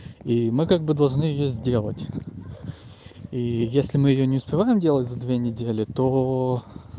и мы как бы должны её сделать и если мы её не успеваем делать за две недели то